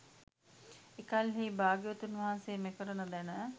එකල්හී භාග්‍යවතුන් වහන්සේ මෙකරුණ දැන